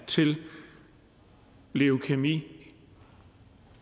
til leukæmi